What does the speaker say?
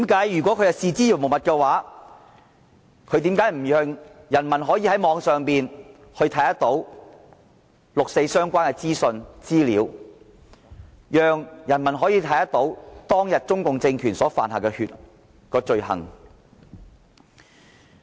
如果它視之如無物，為何不讓人民在網上看到與六四相關的資訊和資料，讓人民都可以看到中共政權當天所犯的罪行？